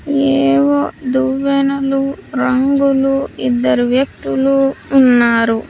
ఏవో దువ్వెనలు రంగులు ఇద్దరు వ్యక్తులు ఉన్నారు.